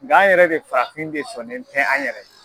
Nga an yɛrɛ de farafin de sɔnnen tɛ an yɛrɛ ye.